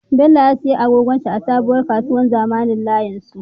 Bello ya siya agogon shi a sabuwar kasuwar zamanin layin su